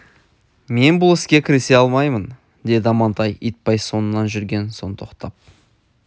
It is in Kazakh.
мен бұл іске кірісе алмаймын деді амантай итбай соңынан жүрген соң тоқтап